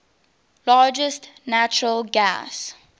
largest natural gas